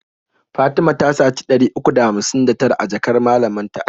Fatima ta saci ɗari uku da hamsin da tara a jakar malamin ta.